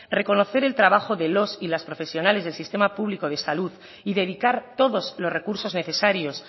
reconocer el trabajo de los y las profesionales del sistema público de salud y dedicar todos los recursos necesarios